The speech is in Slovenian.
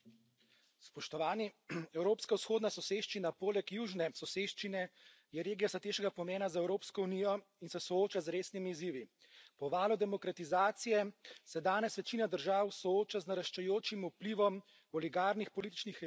Gospoda predsednica! Evropska vzhodna soseščina je poleg južne soseščine regija strateškega pomena za Evropsko unijo in se sooča z resnimi izzivi. Po valu demokratizacije se danes večina držav sooča z naraščajočim vplivom oligarnih političnih elit,